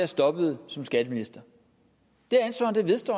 stoppede som skatteminister det ansvar vedstår